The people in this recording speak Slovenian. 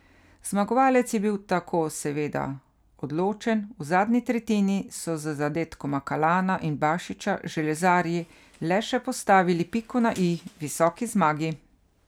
Zmagovalec je bil tako seveda odločen, v zadnji tretjini so z zadetkoma Kalana in Bašiča železarji le še postavili piko na i visoki zmagi.